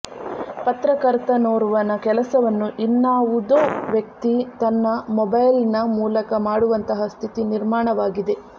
ಪತ್ರಕರ್ತನೋರ್ವನ ಕೆಲಸವನ್ನು ಇನ್ನಾವುದೋ ವ್ಯಕ್ತಿ ತನ್ನ ಮೊಬೈಲ್ನ ಮೂಲಕ ಮಾಡುವಂತಹ ಸ್ಥಿತಿ ನಿರ್ಮಾಣವಾಗಿದೆ